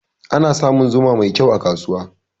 Ana samun zuma mai kyau a kasuwa.